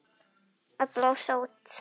Að blása út.